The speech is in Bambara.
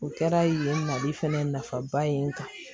O kɛra yen mali fɛnɛ nafaba ye n kan